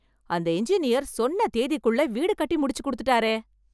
அந்த இன்ஜினியர் சொன்ன தேதிக்குள்ள வீடு கட்டி முடிச்சு கொடுத்துட்டாரே !